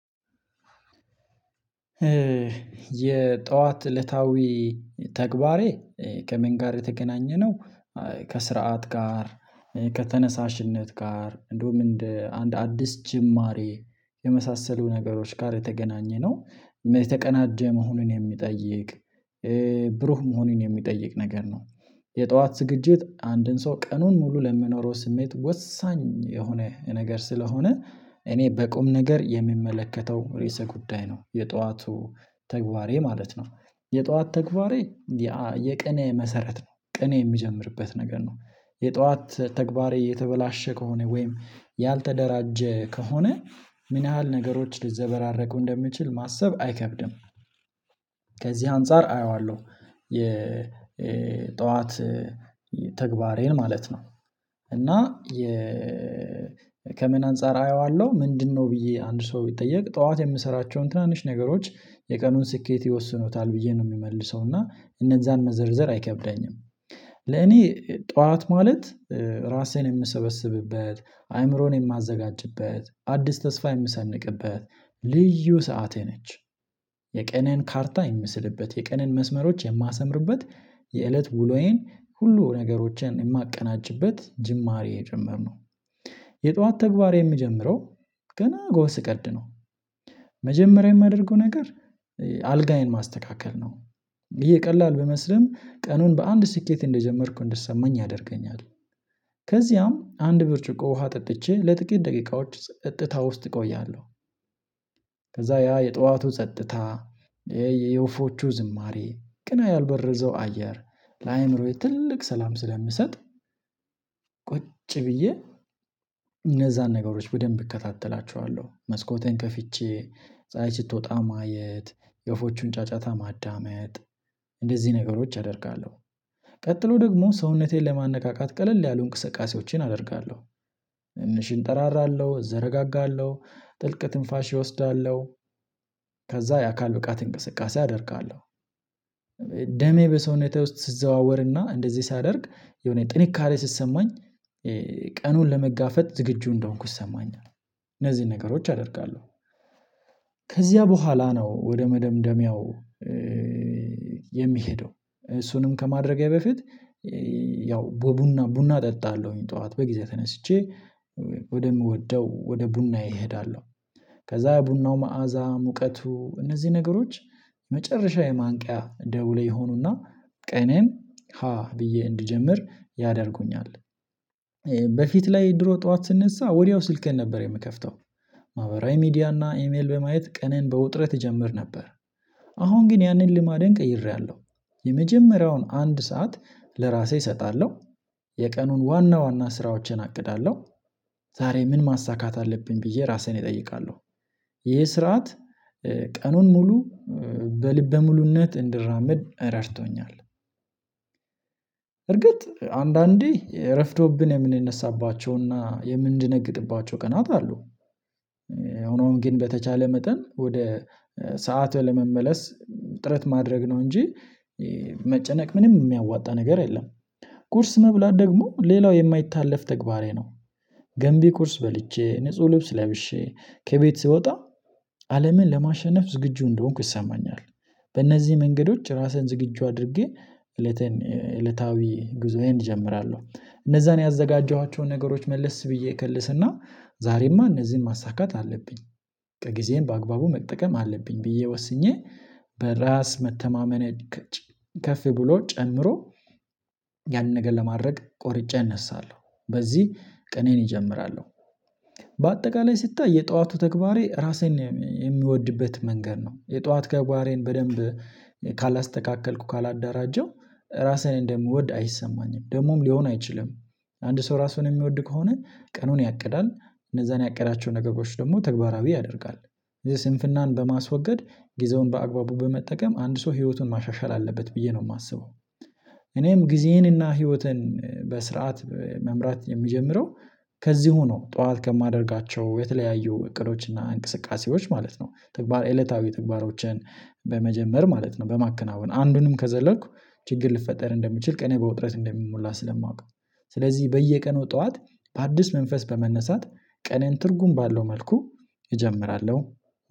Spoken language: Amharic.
የጧት እለታዊ ተግባሬ ከምን ጋር የተገናኘነው ከስርዓት ጋር። ከተነሳሽነት ጋር እንደውም እንደ አንድ አዲስ ጅማሬ የመሳሰሉ ነገሮች ጋር የተገናኘነው የተቀናጀ መሆኑን የሚጠይቅ ብሩህ መሆኑን የሚጠይቅ ነገር ነው። የጠዋት ዝግጅት አንድን ሰው ቀኑን ሙሉ ለሚኖረው ስሜት ወሳኝ የሆነ ነገር ስለሆነ እኔ በቁም ነገር የሚመለከተው ርዕሰ ጉዳይ ነው የጧቱ ተግባሬ ማለት ነው። የጧት ተግባሬ የቀኔ መሰረት ነው ቀኔ የሚጀምርበት ነገር ነው። የጧት ተግባሬ የተበላሸ ከሆነ ወይም ያልተደራጀ ከሆነ ምን ያህል ነገሮች ልዘበራረቁ እንደምችል ማሰብ አይከብድም። ከዚህ አንፃር አየዋለሁ የ ጠዋት ተግባሬን ማለት ነው። እና የ ከምን አንፃር አየዋለሁ ምንድነው ብዬ አንድ ሰው ቢጠየቅ ጠዋት የምሰራቸውን ትናንሽ ነገሮች የቀኑን ስኬት ይወስኑታል ብዬ ነው የምመልሰው እና እነዛን መዘርዘር አይከብደኝም። ለኔ ጠዋት ማለት ራሴን የምሰበስብበት አይምሮን የማዘጋጅበት አዲስ ተስፋ የምሰንቅበት ልዩ ሰዓቴ ነች። የቀኔን ካርታ የምስልበት የቀኔን መስመሮች የማሰምርበት የእለት ውሎዬን ሁሉ ነገሮችን የማቀናጭበት ጅማሬ ጭምር ነው። የጧት ተግባሬ የሚጀምረው ገና ጎህ ቀድነው መጀመሪያ የማደርገው ነገር አልጋዬን ማስተካከል ነው። ይሄ ቀላል ብመስልም ቀኑን በአንድ ስኬት እንደጀመርኩ እንደሰማኝ ያደርገኛል። ከዚያም አንድ ብርጭቆ ውሃ ጠጥቼ ለጥቂት ደቂቃዎች ጸጥታ ውስጥ እቆያለሁ። ከዛ ያ የጠዋቱ ጸጥታ ይሄ የወፎቹ ዝማሬ ቃና ያልበረዘው አየር ለአእምሮዬ ትልቅ ሰላም ስለምሰጥ ቁጭ ብዬ እነዛን ነገሮች በደንብ እከታተላችኋለሁ መስኮቴን ከፍቼ ፀሀይ ስትወጣ ማየት የወፎቹን ጫጫታ ማዳመጥ እንደዚህ ነገሮች አደርጋለሁ። ቀጥሎ ደግሞ ሰውነቴን ለማነቃቃት ቀለል ያሉ እንቅስቃሴዎቼን አደርጋለሁ። ትንሽ እንጠራራለሁ እዘረጋጋለሁ ጥልቅ ትንፋሽ እወስዳለሁ። ከዛ የአካል ብቃት እንቅስቃሴ አደርጋለሁ። ደሜ በሰውነቴ ውስጥ ስዘዋወርና እንደዚህ ሳደርግ የሆነ ጥንካሬ ስሰማኝ ቀኑን ለመጋፈጥ ዝግጁ እንደሆንኩ ይሰማኛል። እነዚህን ነገሮች አደርጋለሁ። ከዚያ በኋላ ነው ወደ መደምደሚያው የምሄደው እሱንም ከማድረጊያ በፊት ያው በቡና ቡና እጠጣለሁኝ ጠዋት በጊዜ ተነስቼ ወደምወደው ወደ ቡናዬ ሄዳለው። ከዛ ቡናው መዓዛ ሙቀቱ እነዚህ ነገሮች መጨረሻ የማንቂያ ደውሌ የሆኑና ቀኔን ሀ ብዬ እንድጀምር ያደርጉኛል። በፊት ላይ ድሮ ጠዋት ስንነሳ ወዲያው ስልኬን ነበር የምከፍተው ማህበራዊ ሚዲያና ኢሜል በማየት ቀኔን በውጥረት እጀምር ነበር። አሁን ግን ያንን ልማዴን ቀይሬያለሁ። የመጀመሪያውን አንድ ሰዓት ለራሴ እሰጣለሁ የቀኑን ዋና ዋና ስራዎችን አቅዳለሁ። ዛሬ ምን ማሳካት አለብኝ ብዬ ራሴን እጠይቃለሁ? ይሄ ስርዓት ቀኑን ሙሉ በልበ ሙሉነት እንድራመድ ረድቶኛል። እርግጥ አንዳንዴ እረፍዶብን የምንነሳባቸው የምድነግጥባቸው ቀናት አሉ። ሆኖም ግን በተቻለ መጠን ወደ ሰዓት ለመመለስ ጥረት ማድረግ ነው እንጂ መጨነቅ ምንም የሚያዋጣ ነገር የለም። ቁርስ መብላት ደግሞ ሌላው የማይታለፍ ተግባሬ ነው። ገንቢ ቁርስ በልቼ ንጹህ ልብስ ለብሼ ከቤት ስወጣ አለምን ለማሸነፍ ዝግጁ እንደሆንኩ ይሰማኛል። በእነዚህ መንገዶች ራሴን ዝግጁ አድርጌ እለታዊ ጉዞዬን እጀምራለሁ እነዛን ያዘጋጀኋቸውን ነገሮች መልስ ብዬ እከልስና ዛሬማ እነዚህን ማሳካት አለብኝ። ከጊዜም በአግባቡ መጠቀም አለብኝ ብዬ ወስኜ በራስ መተማመኔ ከፍ ብሎ ጨምሮ ያንን ነገር ለማድረግ ቆርጬ እነሳለሁ በዚህ ቀኔን እጀምራለሁ። በአጠቃላይ ስታይ የጧቱ ተግባሬ ራሴን የሚወድበት መንገድ ነው የጧት ተገባሬን በደንብ ካላስተካከልኩ ካላዳራጀው ራስህን እንደምወድ አይሰማኝም ደግሞም ሊሆን አይችልም። አንድ ሰው ራሱን የሚወድ ከሆነ ቀኑን ያቅዳል። እነዛን ያቀዳቸው ነገሮች ደግሞ ተግባራዊ ያደርጋል። ይሄ ስንፍናን በማስወገድ ጊዜውን በአግባቡ በመጠቀም አንድ ሰው ህይወቱን ማሻሻል አለበት ብዬ ነው የማስበው። እኔም ጊዜዬንና ህይወቴን በስርዓት መምራት የሚጀምረው ከዚህ ሆኖ ጠዋት ከማደርጋቸው የተለያዩ እቅዶች እና እንቅስቃሴዎች ማለት ነው ተግባር እለታዊ ተግባሮችን በመጀመር ማለት ነው። በማከናወን አንዱንም ከዘለልኩ ችግር ልፈጠር እንደምችል ቀኔ በውጥረት እንደምሞላ ስለማውቀው ስለዚህ በየቀኑ ጠዋት በአዲስ መንፈስ በመነሳት ቀኔን ትርጉም ባለው መልኩ እጀምራለሁ።